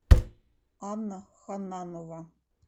анна хананова